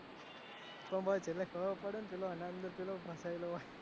પણ ભાઈ છેલ્લે ખબર પડે પેલો આના અંદર પેલો ફસાયેલો હોય